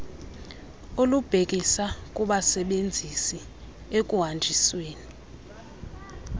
olubhekisa kubasebenzisi ekuhanjisweni